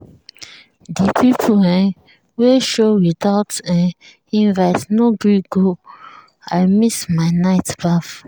the people um wey show without um invite no gree go i miss my night baff.